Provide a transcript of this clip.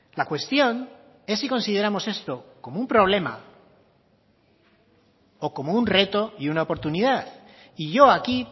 la cuestión es si consideramos esto como un problema o como un reto y una oportunidad y yo aquí